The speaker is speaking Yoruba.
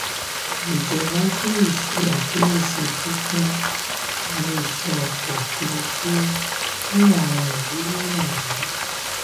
ìjọba tún lè ṣe àkíyèsí fífún ilé-iṣẹ̀ ọkọ̀ òfuurufú àwọn ìwúrí wọnyí.